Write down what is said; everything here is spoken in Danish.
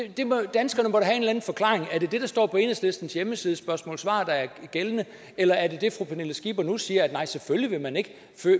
danskerne må da have en forklaring er det det der står på enhedslistens hjemmeside under spørgsmål svar der er gældende eller er det det fru pernille skipper nu siger altså at nej selvfølgelig vil man ikke